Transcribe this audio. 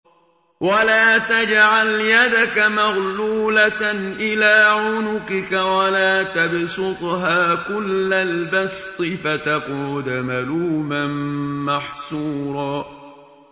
وَلَا تَجْعَلْ يَدَكَ مَغْلُولَةً إِلَىٰ عُنُقِكَ وَلَا تَبْسُطْهَا كُلَّ الْبَسْطِ فَتَقْعُدَ مَلُومًا مَّحْسُورًا